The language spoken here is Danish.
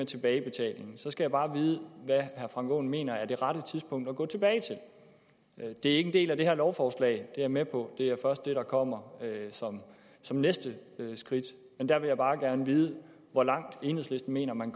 tilbagebetaling skal jeg bare vide hvad herre frank aaen mener er det rette tidspunkt at gå tilbage til det er ikke en del af det her lovforslag det er jeg med på det er først det der kommer som næste skridt men jeg vil bare gerne vide hvor langt enhedslisten mener man